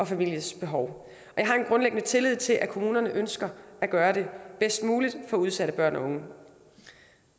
families behov jeg har en grundlæggende tillid til at kommunerne ønsker at gøre det bedst muligt for udsatte børn og unge